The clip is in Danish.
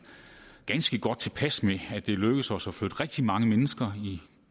ganske godt tilpas med at det er lykkedes os at flytte rigtig mange mennesker i